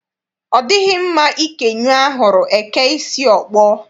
Ọ dịghị mma ikè nyụọ ahụrụ, e kee isi ọkpọ.